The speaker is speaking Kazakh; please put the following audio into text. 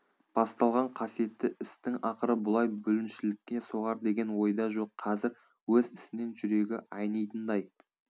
басталған қасиетті істің ақыры бұлай бүліншілікке соғар деген ойда жоқ қазір өз ісінен жүрегі айнитындай